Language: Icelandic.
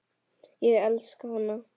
Ég elska hana.